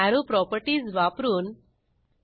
Arrow properties वापरून 1